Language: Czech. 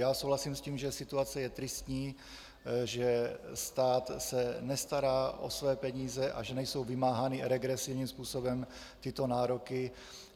Já souhlasím s tím, že situace je tristní, že se státe nestará o své peníze a že nejsou vymáhány regresivním způsobem tyto nároky.